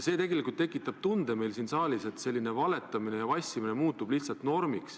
Tegelikult tekitab see meil siin saalis tunde, et selline valetamine ja vassimine muutub lihtsalt normiks.